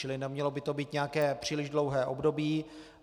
Čili nemělo by to být nějaké příliš dlouhé období.